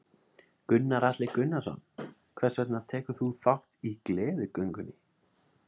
Gunnar Atli Gunnarsson: Hvers vegna tekur þú þátt í Gleðigöngunni?